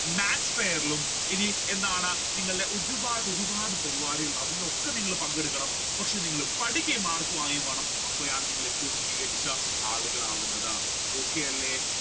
maths fair ലും എന്താണ് നിങ്ങൾ ഒരുപാട് ഒരുപാട് പരിപാടികൾ ഉണ്ടാകും അതിലൊക്കെ നിങ്ങൾ പങ്കെടുക്കണം പക്ഷെ നിങ്ങൾ പഠിക്കുകയും mark വാങ്ങുകയും വേണം. അപ്പോഴാണ് നിങ്ങൾ ഏറ്റവും മികച്ച ആളുകളാവുന്നത് okay അല്ലെ